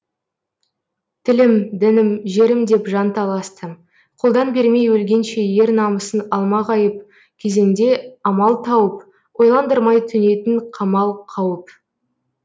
тілім дінім жерім деп жан таласты қолдан бермей өлгенше ер намысын алмағайып кезеңде амал тауып ойландырмай төнетін қамал қауіп